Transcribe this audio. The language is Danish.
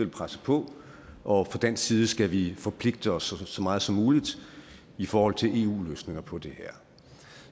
presse på og fra dansk side skal vi forpligte os så meget som muligt i forhold til eu løsninger på det her